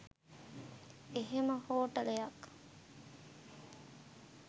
එහෙම හෝටලයක්